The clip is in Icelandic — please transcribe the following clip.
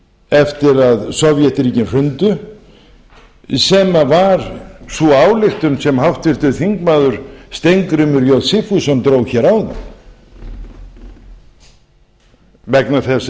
eftir að sovétríkin hrundu sem var sú ályktun sem háttvirtur þingmaður steingrímur j sigfússon dró hér áðan vegna þess að